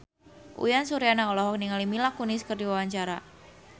Uyan Suryana olohok ningali Mila Kunis keur diwawancara